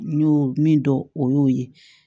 N y'o min dɔn o y'o ye